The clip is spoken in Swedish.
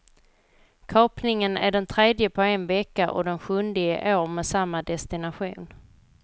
Kapningen är den tredje på en vecka och den sjunde i år med samma destination.